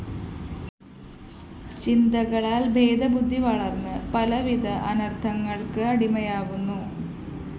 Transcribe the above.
ചിന്തകളാല്‍ ഭേദബുദ്ധീ വളര്‍ന്ന് പലവിധ അനര്‍ത്ഥങ്ങള്‍ക്കടിമയാവുന്നു